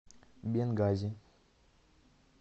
бенгази